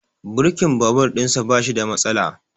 Birkin babur ɗin sa bashi da matsala